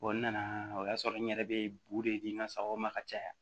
nana o y'a sɔrɔ n yɛrɛ bɛ de di n ka sagaw ma ka caya